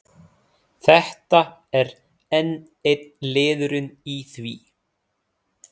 Þetta er enn einn liðurinn í því.